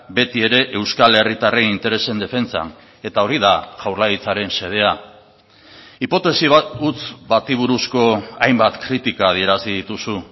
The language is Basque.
betiere euskal herritarren interesen defentsan eta hori da jaurlaritzaren xedea hipotesi bat huts bati buruzko hainbat kritika adierazi dituzu